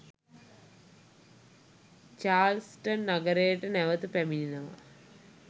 Charleston නගරයට නැවත පැමිණෙනවා.